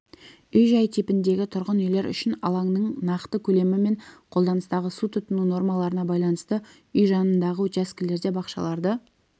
үй-жай типіндегі тұрғын үйлер үшін алаңның нақты көлемі мен қолданыстағы су тұтыну нормаларына байланысты үй жанындағы учаскелерде бақшаларды